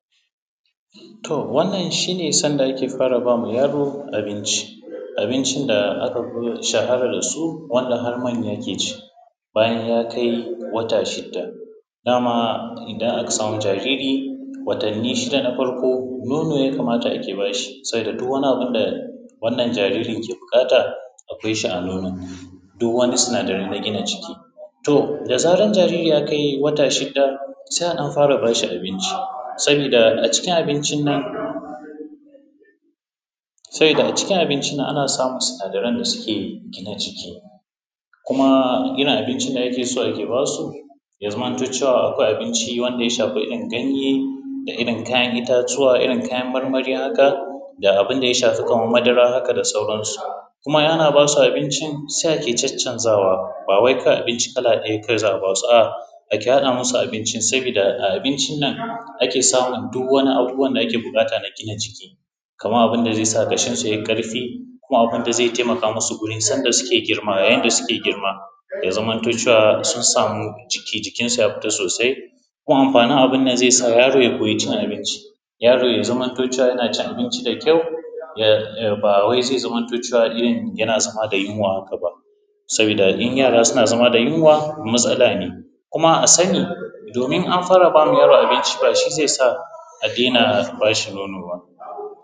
To wannan shi ne sanda ake fara ba ma yaro abinci, abinci da aka fi shahara da su wanda har manya ke ci bayan ya kai wata shidda. Dama in aka samu jariri watanni shida na farko, nono ya kamata ake bashi sabida duk wannan abun da wannan jaririn yake buƙata akwai shi a nono. Duk wannan sinadara na gina jiki. To da zaran jaririn ya kai wata shidda, se a ɗan fara bashi abinci, sabida a cikin abincin nan sabida a cikin abincin nan ana samun sinadaran da suke gina jiki, kuma irin abincin da ake so ake basu, ya zamanto cewa akwai abinci wanda ya shafi irin ganye da irin kayan itatuwa Irin kayan marmari haka da abun da ya shafi kaman madara haka da sauran su. Kuma ana basu abincin sai ake caccanzawa, ba wai kawai abincin kala ɗaya kawai za’a basu A’a ake haɗa musu abincin sabida abincin nan ake samu duk wani abubuwan da ake buƙata na gina jiki. Kaman abun da zai sa ƙashin su yayi ƙarfi, kuma abun da ze taimaka mu su wurin sanda da suke girma yayin da suke girma, ya zamanto cewa sun samu jikin su ya fita sosai, kuma amfanin abun nan ze sa yaro ya koya cin abinci. Yaro ya zamanto cewa yana cin abinci da kyau um ba wai zai zamanto cewa irin yana zama da yinwa haka ba. Sabida in yara suna zama da yinwa, matsala ne, kuma ba a sani domin in an fara ba ma yaro abinci ba shi zai sa a dena ba shi nono ba.